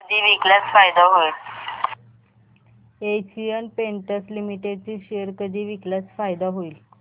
Asian Paints Limited चे share कधी विकल्यास फायदा होईल